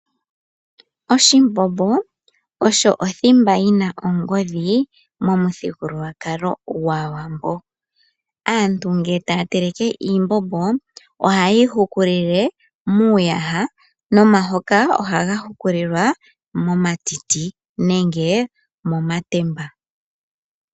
Oshimbombo osho othimba yina ongodhi momuthigululwakalo gwaawambo. Aantu ngele taya teleke iimbombo ohaye yi hukulile miiyaha momahoka ohaga hukililwa momatiti nenge momatemba.